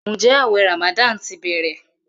Njé awé ramadan tí bẹrẹ?